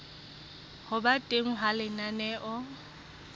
ho ba teng ha lenaneo